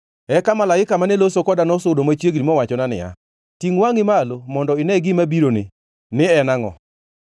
Eka malaika mane loso koda nosudo machiegni mowachona niya, “Tingʼ wangʼi malo mondo ine gima bironi, ni en angʼo?”